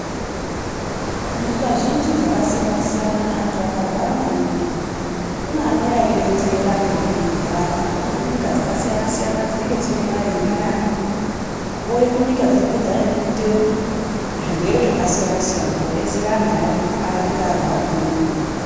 Munyika zhinji dzakasiyana siyana antu akarwara maningi, kune anouya eidetsera antu anenge eirwara. Vanobva kunyika dzakasiyana-siyana dzine mare irinani, vouye kunyika dzinenge dzanyanya kuite zvirwere zvakasiyana siyana koodetsera antu anenge arwara maningi.